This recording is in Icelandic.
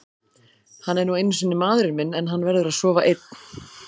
Hann er nú einu sinni maðurinn minn en hann verður að sofa einn.